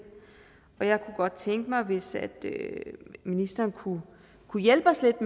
og jeg kunne godt tænke mig hvis ministeren kunne hjælpe os lidt